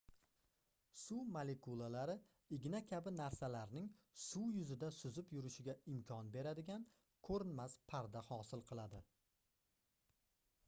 suv molekulalari igna kabi narsalarning suv yuzida suzib yurishiga imkon beradigan koʻrinmas parda hosil qiladi